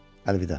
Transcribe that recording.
Əlvida.